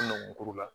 U ye numuw kuru la